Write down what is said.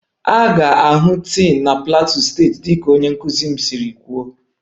A ga-ahụ tin na plateau steeti dịka onye nkuzi m siri kwuo